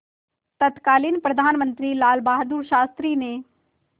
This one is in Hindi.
तत्कालीन प्रधानमंत्री लालबहादुर शास्त्री ने